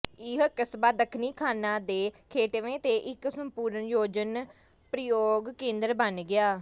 ਇਹ ਕਸਬਾ ਦੱਖਣੀ ਖਾਨਾਂ ਦੇ ਗੇਟਵੇ ਤੇ ਇੱਕ ਸੰਪੂਰਨ ਪ੍ਰਯੋਜਨ ਕੇਂਦਰ ਬਣ ਗਿਆ